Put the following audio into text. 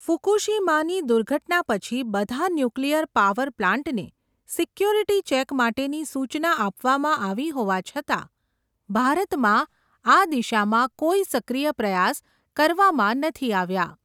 ફુકુશીમાની દુર્ઘટના પછી, બધા ન્યુક્લિયર પાવર પ્લાન્ટને, સિક્યોરિટી ચેક માટેની સુચના આપવામાં આવી હોવા છતાં, ભારતમાં આ દિશામાં, કોઈ સક્રિય પ્રયાસ કરવામાં નથી આવ્યા.